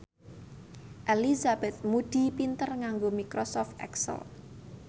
Elizabeth Moody pinter nganggo microsoft excel